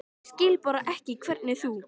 Ég skil bara ekki hvernig þú.